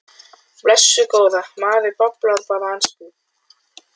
Blessuð góða. maður bablar bara á ensku.